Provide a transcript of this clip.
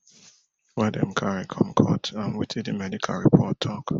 wey dem carry come court and wetin di medical report tok